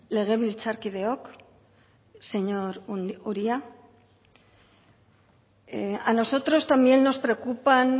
legebiltzarkideok señor uria a nosotros también nos preocupan